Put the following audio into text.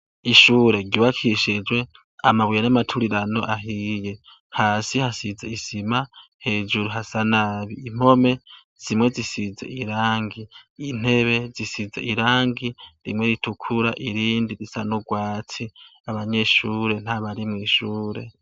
ishure ryubakishijwe amabuye n'amaturirano ahiye hasi hasize isima hejuru hasa nabi impome zimwe zisize irangi intebe zisize irangi rimwe ritukura irindi risa n’urwatsi abanyeshure nta bari mw’ ishure